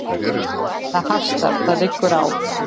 Það hastar: það liggur á.